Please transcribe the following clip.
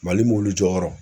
Mali mobilijɔyɔrɔ